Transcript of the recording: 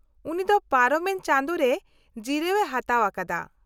-ᱩᱱᱤ ᱫᱚ ᱯᱟᱨᱚᱢᱮᱱ ᱪᱟᱸᱫᱳᱨᱮ ᱡᱤᱨᱟᱹᱣ ᱮ ᱦᱟᱛᱟᱣ ᱟᱠᱟᱫᱟ ᱾